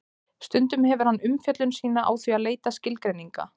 Stundum hefur hann umfjöllun sína á því að leita skilgreininga.